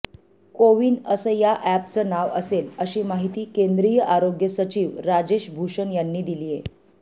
कोविन असं या अॅपचं नाव असेल अशी माहिती केंद्रीय आरोग्य सचिव राजेश भूषण यांनी दिलीय